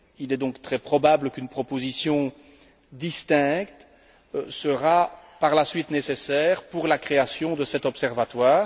Il est donc très probable qu'une proposition distincte sera, par la suite, nécessaire pour la création de cet observatoire.